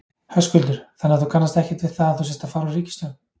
Höskuldur: Þannig þú kannast ekkert við það að þú sért að fara úr ríkisstjórn?